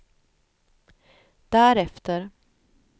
därefter